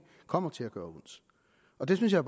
kommer til at gøre ondt og det synes jeg